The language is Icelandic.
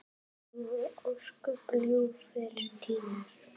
Það voru ósköp ljúfir tímar.